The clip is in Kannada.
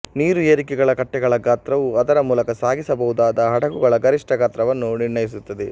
ನೀರುಏರಿಳಿಕೆ ಕಟ್ಟೆಗಳ ಗಾತ್ರವು ಅದರ ಮೂಲಕ ಸಾಗಿಸಬಹುದಾದ ಹಡಗುಗಳ ಗರಿಷ್ಠ ಗಾತ್ರವನ್ನು ನಿರ್ಣಯಿಸುತ್ತದೆ